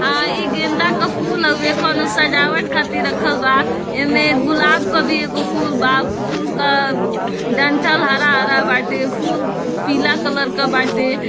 आ ई गेंदा का फूल हउये कोनो सजावट खातिर रखल बा एमे गुलाब का भी एगो फूल बा फूल का डंठल हरा-हरा बाटे फूल पीला कलर क बाटे।